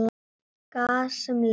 Gas sem leysir